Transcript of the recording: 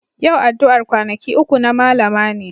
Yau addu'ar kwanaki uku na Mallama ne.